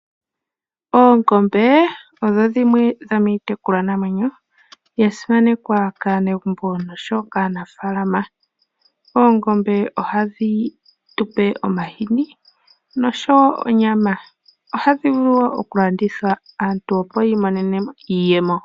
Oongombe odho dhimwe dhomiitekulwa namwenyo ya simanekwa kaanegumbo nosho wo kaanafalama. Oongombe ohadhi tupe omahini nosho wo onyama, ohadhi vulu wo oku landithwa aantu opo ya imonene mo iiyemo.